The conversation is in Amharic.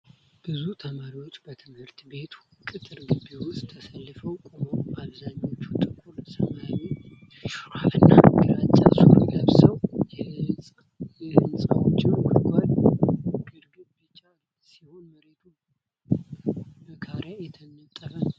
ብዙ ተማሪዎች በትምህርት ቤቱ ቅጥር ግቢ ውስጥ ተሰልፈው ቆመዋል። አብዛኞቹ ጥቁር ሰማያዊ ሹራብ እና ግራጫ ሱሪ ለብሰዋል። የሕንፃዎቹ ግድግዳ ቢጫ ሲሆን፣ መሬቱ በካሬ የተነጠፈ ነው።